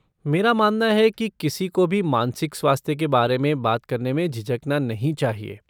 मेरा मानना है कि किसी को भी मानसिक स्वास्थ्य के बारे में बात करने में झिझकना नहीं चाहिए।